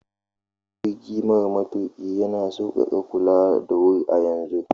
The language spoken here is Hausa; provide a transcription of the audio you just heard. Jirgi mara matuƙi yana sauƙaƙa kula da wuri a yanzun.